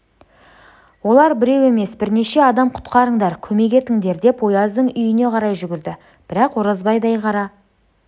олар біреу емес бірнеше адам құтқарыңдар көмек етіңдер деп ояздың үйіне қарай жүгірді бірақ оразбайдай қара